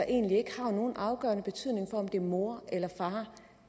egentlig ikke har nogen afgørende betydning om det er mor eller far